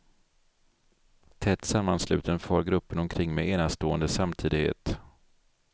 Tätt sammansluten far gruppen omkring med enastående samtidighet.